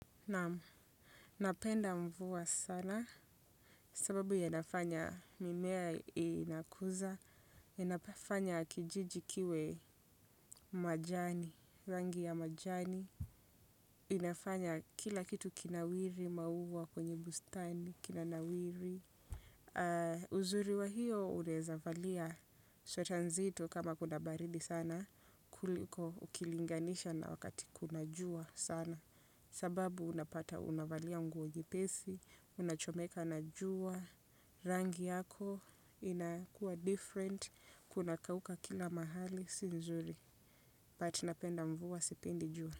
Napenda mvua sana sababu yanafanya mimea inakuza, yanafanya kijiji kiwe majani, rangi ya majani, inafanya kila kitu kinawiri maua kwenye bustani, kinanawiri. Uzuri wa hiyo unaeza valia sweta nzito kama kuna baridi sana. Kuliko ukilinganisha na wakati kuna jua sana. Sababu unapata unavalia nguo nyepesi. Unachomeka na jua. Rangi yako inakuwa different. Kuna kauka kila mahali si nzuri but napenda mvua sipendi jua.